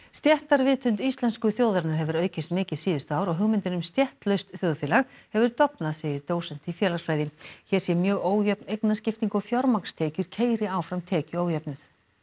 stéttarvitund íslensku þjóðarinnar hefur aukist mikið síðustu ár og hugmyndin um stéttlaust þjóðfélag hefur dofnað segir dósent í félagsfræði hér sé mjög ójöfn eignaskipting og fjármagnstekjur keyri áfram tekjuójöfnuð